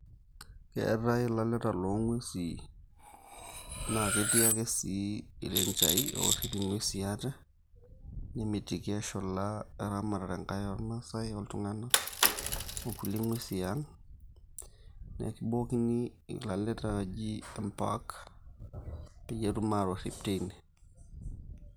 Keetai ilaleta loong'uesi naa ketii ake sii irenchaai oorrip ing'uesi aate nemitiki eshula oo eramatare nkae oormaasai oltung'anak ookulie ng'uesi e aang', neekibookini ilaleta ooji park peyie etum aatorrip tine.